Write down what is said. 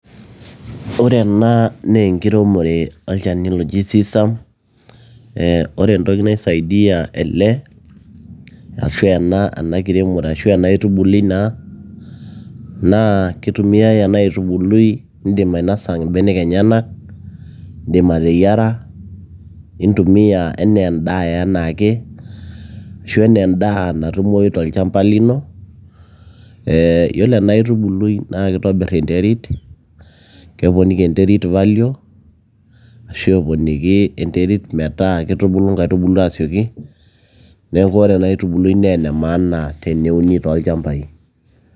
Ore ena naa enkiremore olchani loji tsan ee ore entoki nai saidia ele ashu ena kiremore ashu ena aitubulu naa ,naa keitumiai ena aitubului ,indim ainasa mbenek enyenak ,indim ateyiara ,intumia anaa endaa enaake ,ashu ana endaa natumoi tolchamba lino ee iyolo ena aitubului na keitobir enterit ,keponiki enterit value ashu eponiki enterit metaa kitubulu ntaitubulu asioki ,neaku ore ena aitubulu na ene maana teneuni tolchampai.